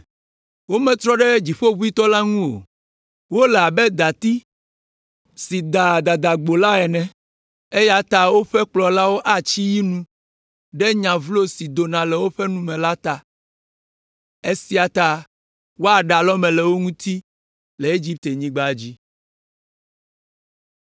Wometrɔ ɖe Dziƒoʋĩtɔ la ŋu o. Wole abe dati si daa dadagbo la ene, eya ta woƒe kplɔlawo atsi yi nu ɖe nya vlo si dona le woƒe nu me la ta. Esia ta woaɖe alɔme le wo ŋuti le Egiptenyigba dzi.